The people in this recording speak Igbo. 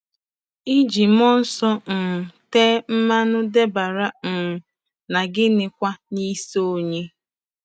Iji mmụọ nsọ um tee mmanụ dabere um na gịnị nakwa n'isi onye?